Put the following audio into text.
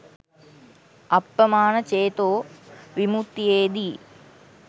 අප්පමාණ චේතෝ විමුත්තියේදී